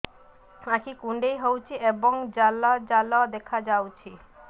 ଆଖି କୁଣ୍ଡେଇ ହେଉଛି ଏବଂ ଜାଲ ଜାଲ ଦେଖାଯାଉଛି